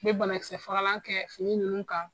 Be banakisɛ fagalan kɛ fini nunnu kan.